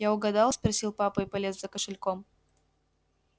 я угадал спросил папа и полез за кошельком